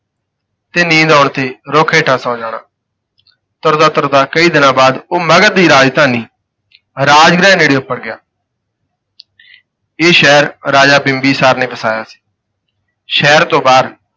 ਤੇ ਨੀਂਦ ਆਉਣ ਤੇ ਰੁੱਖ ਹੇਠਾਂ ਸੌਂ ਜਾਣਾ, ਤੁਰਦਾ ਤੁਰਦਾ ਕਈ ਦਿਨਾਂ ਬਾਅਦ ਉਹ ਮਗਧ ਦੀ ਰਾਜਧਾਨੀ ਰਾਜਗ੍ਰਹਿ ਨੇੜੇ ਉਪੜ ਗਿਆ ਇਹ ਸ਼ਹਿਰ ਰਾਜਾ ਬਿੰਬੀਸਾਰ ਨੇ ਵਸਾਇਆ ਸੀ। ਸ਼ਹਿਰ ਤੋਂ ਬਾਹਰ,